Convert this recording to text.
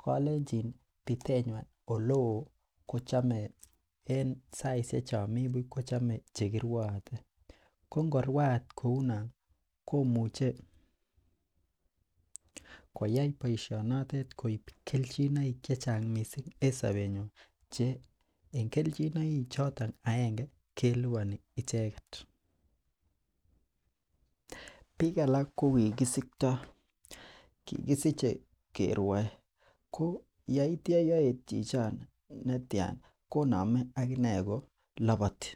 kolenjin pitenywa oleo ko chome en saishek chon Mii buch kochome chekiruate ko nkoruat kounon ko muche koyai boishoni koib keljin chechang missing en sobenywan che en keljinoik choton aenge keliboni icheket. Bik alak ko kikisikto kikisiche keruon ko yeityo yeyet chichon netyan konome akinee kilopoti.